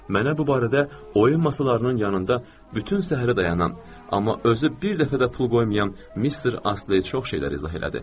Mənə bu barədə oyin masalarının yanında bütöv səhər dayanan, amma özü bir dəfə də pul qoymayan mister Astley çox şeylər izah elədi.